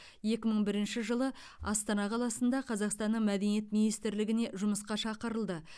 екі мың бірінші жылы астана қаласында қазақстанның мәдениет министрлігіне жұмысқа шақырылды